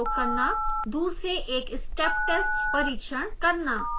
दूर से एक step test परिक्षण करना